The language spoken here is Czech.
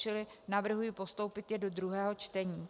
Čili navrhuji postoupit návrh do druhého čtení.